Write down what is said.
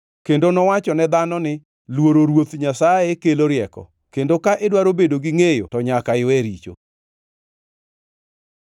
Kendo nowachone dhano ni, ‘Luoro Ruoth Nyasaye kelo rieko, kendo ka idwaro bedo gi ngʼeyo to nyaka iwe richo!’ ”